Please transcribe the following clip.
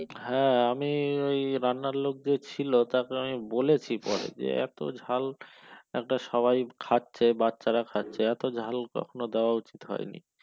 হ্যাঁ আমি ওই রান্নার লোক যে ছিল তাকে আমি বলেছি পরে যে এত ঝাল একটা সবাই খাচ্ছে বাচ্চারা খাচ্ছে এত ঝাল কখনো দেওয়া উচিত হয়নি।